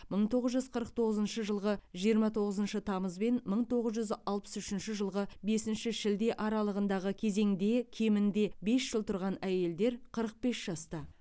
мың тоғыз жүз қырық тоғызыншы жылғы жиырма тоғызыншы тамыз бен мың тоғыз жүз алпыс үшінші жылғы бесінші шілде аралығындағы кезеңде кемінде бес жыл тұрған әйелдер қырық бес жаста